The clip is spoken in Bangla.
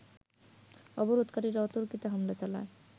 অবরোধকারীরা অতর্কিতে হামলা চালায়